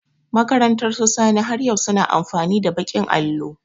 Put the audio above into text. Makarantar su Sani, har yau su na amfani da baƙin allo.